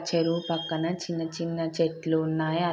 చెరువు పక్కన చిన్న చిన్న చెట్లున్నాయి. ఆ --